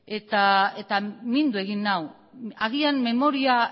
eta mindu egin nau agian memoria